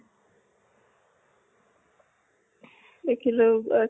দেখিলো এহ